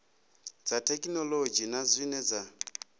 dza thekhinolodzhi na zwine dza